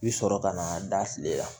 I bi sɔrɔ ka na da fili la